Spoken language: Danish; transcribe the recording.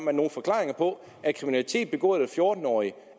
har nogen forklaringer på at kriminalitet begået af fjorten årige